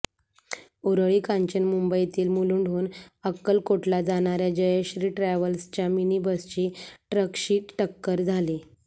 उरळी कांचन मुंबईतील मुलुंडहून अक्कलकोटला जाणाऱ्या जयश्री ट्रॅव्हल्सच्या मिनी बसची ट्रकशी टक्कर झाली